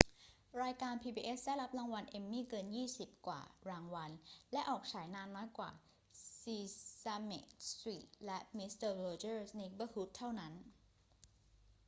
รายการ pbs ได้รับรางวัล emmy เกินยี่สิบกว่ารางวัล และออกฉายนานน้อยกว่า sesame street และ mister rogers neighborhood เท่านั้น